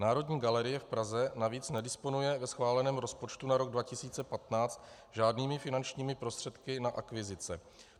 Národní galerie v Praze navíc nedisponuje ve schváleném rozpočtu na rok 2015 žádnými finančními prostředky na akvizice.